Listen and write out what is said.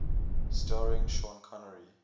starring sean connery